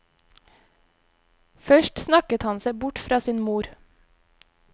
Først snakket han seg bort fra sin mor.